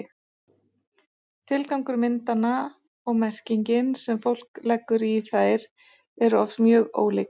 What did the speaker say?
tilgangur myndanna og merkingin sem fólk leggur í þær eru oft mjög ólík